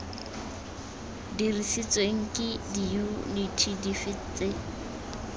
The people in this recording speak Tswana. dirisiweng ke diyuniti dife tse